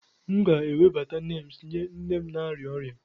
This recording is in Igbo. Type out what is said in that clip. M ga-ewebata neems nye nne m na-arịa ọrịa.